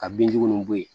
Ka binjugu ninnu bɔ yen